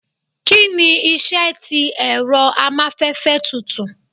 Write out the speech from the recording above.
Kini iṣẹ ti ẹrọ amafẹfẹ tutù?